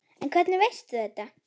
En hvernig veist þú þetta?